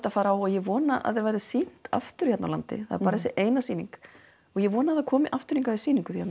að fara á og ég vona að þetta verði sýnt aftur hérna á landi það var bara þessi eina sýning og ég vona að þetta komi aftur hingað í sýningu því